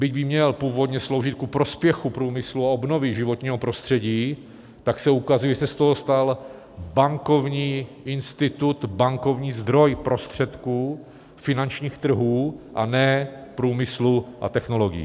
Byť by měl původně sloužit ku prospěchu průmyslu a obnovy životního prostředí, tak se ukazuje, že se z toho stal bankovní institut, bankovní zdroj prostředků finančních trhů, a ne průmyslu a technologií.